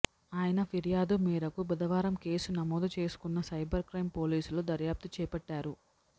ఆయన ఫిర్యాదు మేరకు బుధవారం కేసు నమోదు చేసుకున్న సైబర్ క్రైమ్ పోలీసులు దర్యాప్తు చేపట్టారు